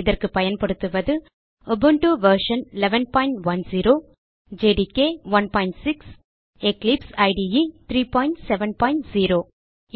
இதற்கு பயன்படுத்துவது Ubuntu version 1110 JDK 16 மற்றும் எக்லிப்ஸ் இடே 370